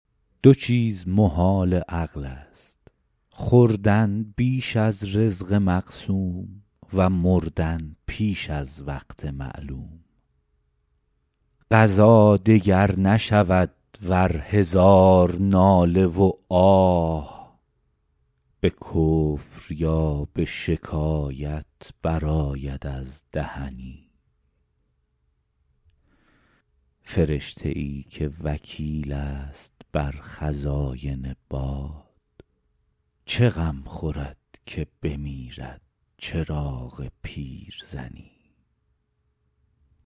دو چیز محال عقل است خوردن بیش از رزق مقسوم و مردن پیش از وقت معلوم قضا دگر نشود ور هزار ناله و آه به کفر یا به شکایت برآید از دهنی فرشته ای که وکیل است بر خزاین باد چه غم خورد که بمیرد چراغ پیرزنی